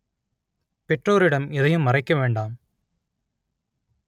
பெற்றோரிடம் எதையும் மறைக்க வேண்டாம்